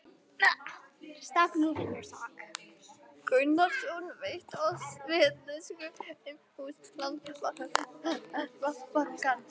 Gunnarsson veitt oss vitneskju um hús Landsbankans.